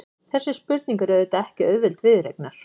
Þessi spurning er auðvitað ekki auðveld viðureignar.